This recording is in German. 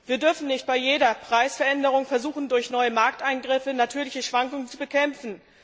Wir dürfen nicht bei jeder Preisveränderung versuchen, durch neue Markteingriffe natürliche Schwankungen zu bekämpfen.